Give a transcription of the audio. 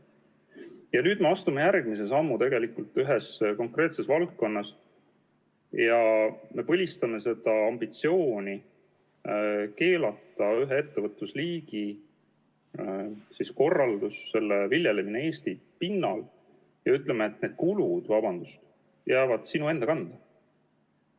Ja nüüd me astume järgmise sammu tegelikult ühes konkreetses valdkonnas ja me põlistame seda ambitsiooni keelata ühe ettevõtlusliigi korraldus, selle viljelemine Eesti pinnal ja ütleme, et need kulud, vabandust, jäävad sinu enda kanda.